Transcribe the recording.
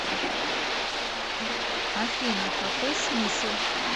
афина какой смысл